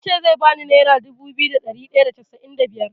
Eh ya ce zai bani nera dubu biyu da ɗari ɗaya da casa’in da biyar.